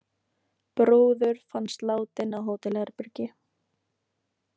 Brúður fannst látin á hótelherbergi